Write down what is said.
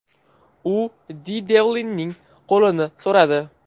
U Di Devlinning qo‘lini so‘radi .